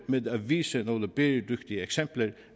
med at vise nogle bæredygtige eksempler det